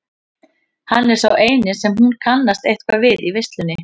Hann er sá eini sem hún kannast eitthvað við í veislunni.